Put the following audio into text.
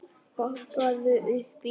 Hoppaðu upp í.